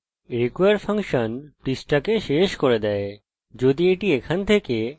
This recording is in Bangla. require ফাংশন পৃষ্ঠাকে শেষ করে দেয় যদি এটি এখান থেকে না পাই